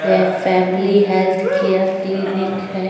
ये family health care clinic है।